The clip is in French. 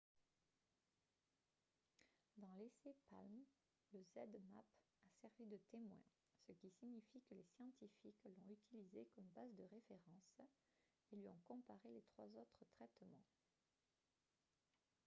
dans l'essai palm le zmapp a servi de témoin ce qui signifie que les scientifiques l'ont utilisé comme base de référence et lui ont comparé les trois autres traitements